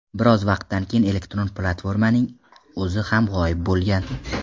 Biroz vaqtdan keyin elektron platformaning o‘zi ham g‘oyib bo‘lgan.